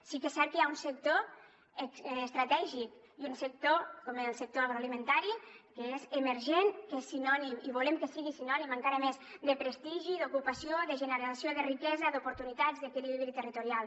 sí que és cert que hi ha un sector estratègic i un sector com el sector agroalimentari que és emergent que és sinònim i volem que sigui sinònim encara més de prestigi d’ocupació de generació de riquesa d’oportunitats d’equilibri territorial